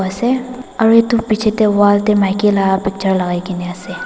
ase aru etu picche teh wall teh maiki lah baccha lagai ke na ase.